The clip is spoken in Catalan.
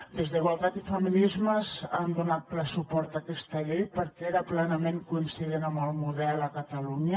des d’igualtat i feminismes han donat ple suport a aquesta llei perquè era plenament coincident amb el model a catalunya